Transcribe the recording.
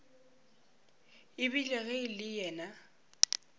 ebile ge e le yena